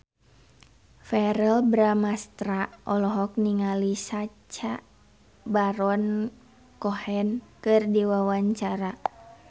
Verrell Bramastra olohok ningali Sacha Baron Cohen keur diwawancara